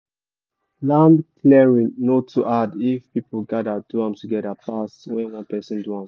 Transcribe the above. land clearing no too hard if people gather do am together pass when one person do am